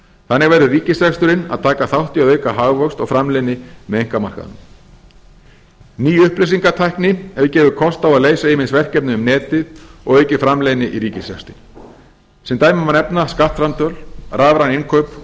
þannig verður ríkisreksturinn að taka þátt í að auka hagvöxt og framleiðni með einkamarkaðnum ný upplýsingatækni hefur gefið kost á að leysa ýmis verkefni um netið og aukið framleiðni í ríkisrekstri sem dæmi má nefna skattframtöl rafræn innkaup